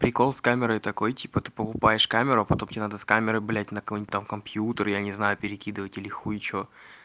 прикол с камерой такой типа ты покупаешь камеру потом тебе надо с камерой блять на какой-нибудь там компьютер я не знаю перекидывать или хуй что